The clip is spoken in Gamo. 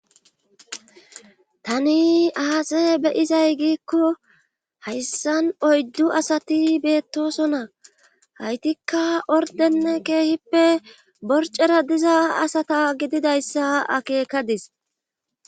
tani aase beyizay giikko hayssan oyddu asati beettosona haytikka ordenne keehippe borcera diza asata gididayssa akeekadis